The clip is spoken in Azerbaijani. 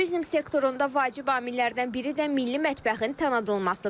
Turizm sektorunda vacib amillərdən biri də milli mətbəxin tanıdılmasıdır.